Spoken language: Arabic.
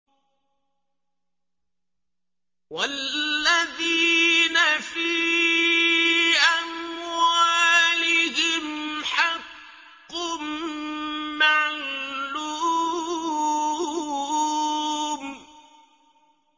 وَالَّذِينَ فِي أَمْوَالِهِمْ حَقٌّ مَّعْلُومٌ